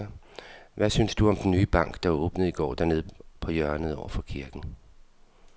Hvad synes du om den nye bank, der åbnede i går dernede på hjørnet over for kirken?